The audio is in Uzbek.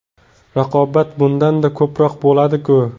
Raqobat bundanda ko‘proq bo‘ladi-ku.